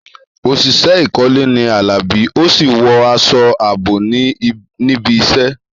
Òṣìṣẹ́ ìkọ́lé ni Alabi, ó sì wọ aṣọ ààbò níbi iṣẹ́.